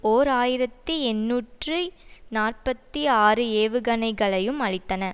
ஓர் ஆயிரத்தி எண்ணூற்றி நாற்பத்தி ஆறு ஏவுகணைகளையும் அழித்தன